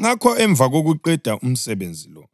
Ngakho emva kokuqeda umsebenzi lo,